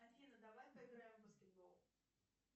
афина давай поиграем в баскетбол